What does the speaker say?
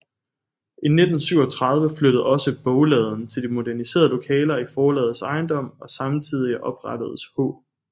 I 1937 flyttede også bogladen til de moderniserede lokaler i forlagets ejendom og samtidig oprettedes H